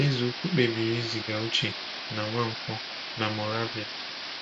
Eze ukwu kpebiri iziga Uche na Nwankwo na Moravia.